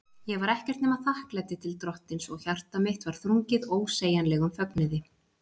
Ég var ekkert nema þakklæti til Drottins, og hjarta mitt var þrungið ósegjanlegum fögnuði.